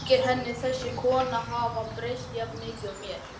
Þykir henni þessi kona hafa breyst jafn mikið og mér?